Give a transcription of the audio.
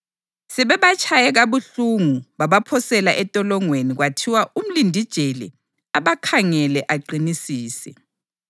Sebebatshaye kabuhlungu babaphosela entolongweni kwathiwa umlindijele abakhangele aqinisise.